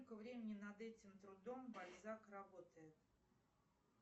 сколько времени над этим трудом бальзак работает